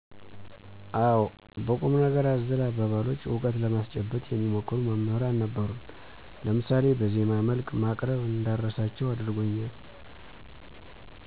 አወ። በቁም ነገር አዘል አባባሎች እውቀት ለማስጨበጥ የሚሞክሩ መምሕራን ነበሩን ለምሳሌ በዜማ መልክ ማቅረብ እንዳረሳቸው አድርጎኛል።